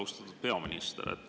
Austatud peaminister!